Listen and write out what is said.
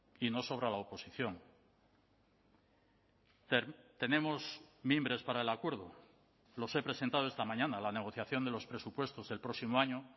y no sobra la oposición tenemos mimbres para el acuerdo los he presentado esta mañana la negociación de los presupuestos del próximo año